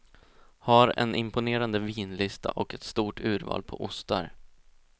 Har en imponerande vinlista och ett stort urval på ostar.